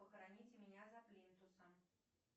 похороните меня за плинтусом